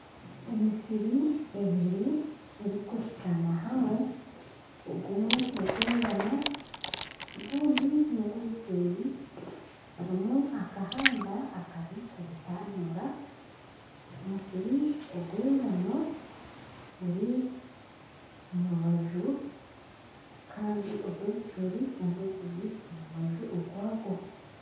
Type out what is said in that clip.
Emisiri ebiri erikuhikaana hamwe ogumwe n'gwengano ogundi n'gwebicoori harimu akahanda akari kubitanuura omusiri ogw'engano guri omurubaju Kandi ogw'ebicoori nagwe guri omurubaju rwagwo